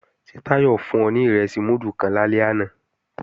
Ṣé Táyọ̀ fún ọ ní ìrẹsì múdù kan lálẹ́ àná